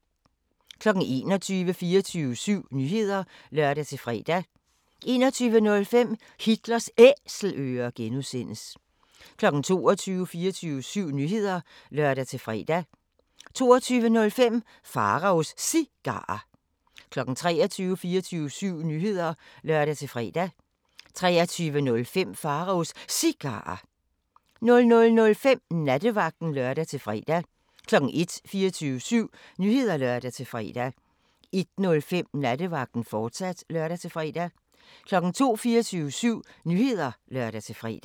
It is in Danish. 21:00: 24syv Nyheder (lør-fre) 21:05: Hitlers Æselører (G) 22:00: 24syv Nyheder (lør-fre) 22:05: Pharaos Cigarer 23:00: 24syv Nyheder (lør-fre) 23:05: Pharaos Cigarer 00:05: Nattevagten (lør-fre) 01:00: 24syv Nyheder (lør-fre) 01:05: Nattevagten, fortsat (lør-fre) 02:00: 24syv Nyheder (lør-fre)